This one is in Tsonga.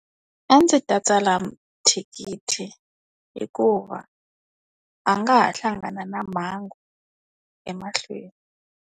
A ndzi ta tsala thikithi. Hikuva, a nga ha hlangana na mhangu, emahlweni.